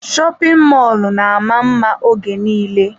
Shopin mọlụ na ama mma oge nille.